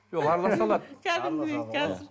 жоқ араласа алады